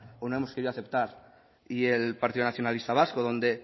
o no hemos querido aceptar y el partido nacionalista vasco donde